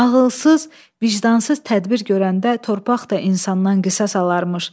Ağalsız, vicdansız tədbir görəndə torpaq da insandan qisas alarmış.